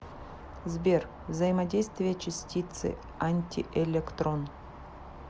сбер взаимодействие частицы антиэлектрон